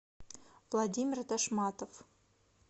владимир тошматов